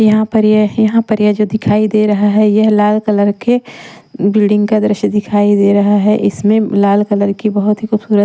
यहाँ पर यह जो दिखाई दे रहा है यह लाल कलर के बिल्डिंग का दृश्य दिखाई दे रहा है इसमें लाल कलर की बहुत ही खूबसूरत--